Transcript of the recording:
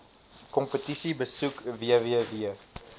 kompetisie besoek www